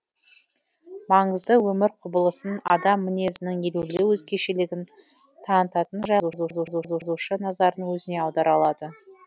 маңызды өмір құбылысын адам мінезінің елеулі өзгешелігін танытатын жай назарын өзіне аудара алады